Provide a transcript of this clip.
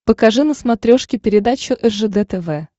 покажи на смотрешке передачу ржд тв